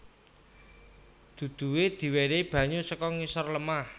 Duduhe diwenehi banyu saka ngisor lemah